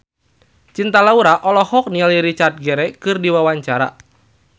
Cinta Laura olohok ningali Richard Gere keur diwawancara